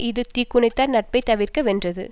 இது தீக்குணத்தார் நட்பை தவிர்க வென்றது